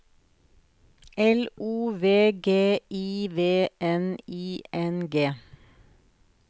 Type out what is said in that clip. L O V G I V N I N G